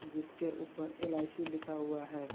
जिसके ऊपर एल_आई_सी लिखा हुआ है।